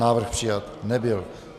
Návrh přijat nebyl.